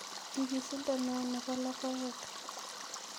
Nyigisindo ne oo ne bo logoekn